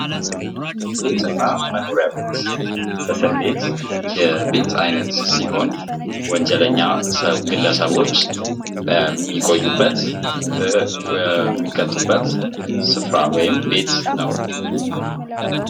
ቤትና መኖሪያ ቤት እስር ቤት የቤት አይነት ሲሆን ወንጀለኛ ግለሰቦች የሚቆዩበት፥ የሚቀጡበት ስፍራ ወይም ቤት ነው።